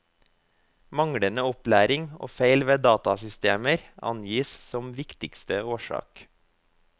Manglende opplæring og feil ved datasystemer angis som viktigste årsak.